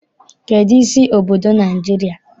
Kedụ isi obodo Naịjirịa?